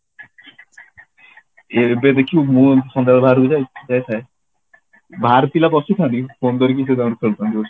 ଏବେ ଦେଖିବୁ ମୁଁ ସନ୍ଧ୍ୟାବେଳେ ବାହାରକୁ ଯାଇଥାଏ ବାହାର ପିଲା ପସୁଥାଆନ୍ତି ପନ୍ଦର minute ରେ ତାଙ୍କର ଫେରୁଥାଆନ୍ତି